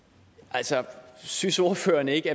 altså synes ordføreren ikke